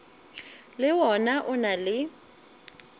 le wona o na le